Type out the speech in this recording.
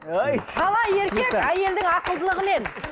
талай еркек әйелдің ақылдылығымен